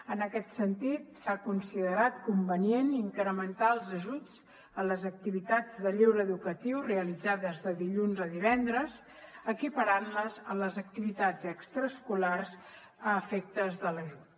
en aquest sentit s’ha considerat convenient incrementar els ajuts en les activitats de lleure educatiu realitzades de dilluns a divendres equiparant les a les activitats extraescolars a l’efecte de l’ajut